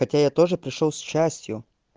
так я тоже пришёл с счастью